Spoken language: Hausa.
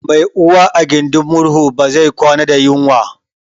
Mai Uwa a gidin murhu bai kwana da yunwa